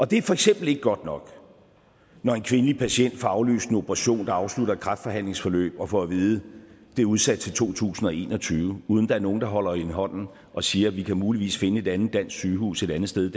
det er for eksempel ikke godt nok når en kvindelig patient får aflyst en operation der skal afslutte et kræftbehandlingsforløb og får at vide at det er udsat til to tusind og en og tyve uden at der er nogen der holder hende i hånden og siger vi kan muligvis finde et andet dansk sygehus et andet sted i